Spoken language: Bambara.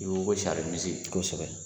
I ko ko sari misi kosɛbɛ.